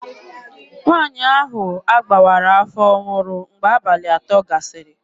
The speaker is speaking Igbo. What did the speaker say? Nwaanyị ahụ a gbawara afọ nwụrụ mgbe abalị atọ gasịrị.